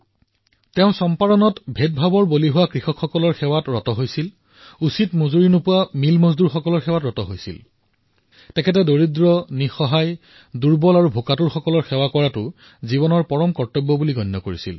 তেওঁ সেই কৃষকসকলৰ সেৱা কৰিছিল যাৰ সৈতে চম্পাৰণত ভেদাভেদ কৰা হৈছিল তেওঁ সেই শ্ৰমিকসকলৰ সেৱা কৰিছিল যিসকলে উচিত পৰিশ্ৰামিক নাপাইছিল তেওঁ দুখীয়া অসহায় দুৰ্বল আৰু ভোকাতুৰ লোকৰ সেৱা কৰিছিল ইয়াকেই তেওঁ জীৱনৰ পৰম কৰ্তব্য হিচাপে মানি লৈছিল